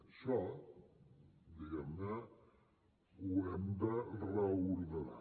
això diguem ne ho hem de reordenar